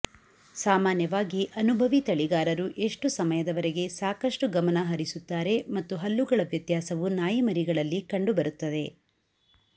ಸಾಮಾನ್ಯವಾಗಿ ಅನುಭವಿ ತಳಿಗಾರರು ಎಷ್ಟು ಸಮಯದವರೆಗೆ ಸಾಕಷ್ಟು ಗಮನ ಹರಿಸುತ್ತಾರೆ ಮತ್ತು ಹಲ್ಲುಗಳ ವ್ಯತ್ಯಾಸವು ನಾಯಿಮರಿಗಳಲ್ಲಿ ಕಂಡುಬರುತ್ತದೆ